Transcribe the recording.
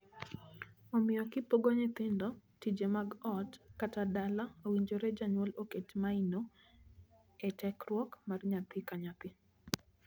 Omiyo, kipogo nyithindo tije mag ot kata dala, owinjore janyuol oket maino e tekruok mar nyathi ka nyathi.